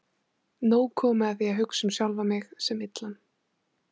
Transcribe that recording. Nóg komið af því að hugsa um sjálfan mig sem illan.